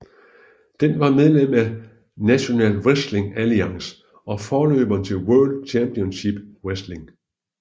Den var medlem af National Wrestling Alliance og forløberen til World Championship Wrestling